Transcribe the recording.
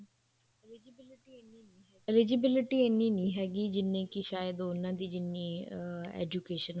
eligibity ਇੰਨੀ ਨੀ ਹੈਗੀ ਜਿੰਨੀ ਕੀ ਸ਼ਾਇਦ ਉਹਨਾ ਦੀ ਜਿੰਨੀ ਅਮ education